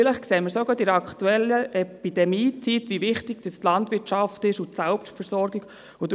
Vielleicht sehen wir es auch gerade in der aktuellen Epidemie-Zeit, wie wichtig die Landwirtschaft und die Selbstversorgung sind.